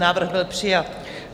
Návrh byl přijat.